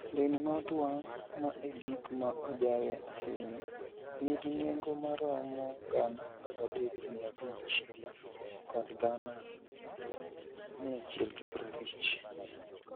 Lewni ma otwang'o, ma e gik ma ojarie ahinya, nigi nengo maromo Sh13,500 kod Sh150,000.